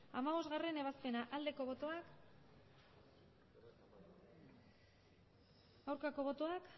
hamabostgarrena ebazpena aldeko botoak aurkako botoak